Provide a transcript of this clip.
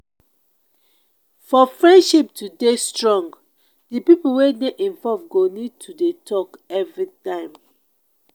For friendship to dey strong di pipo wey dey involve go need to dey talk everytime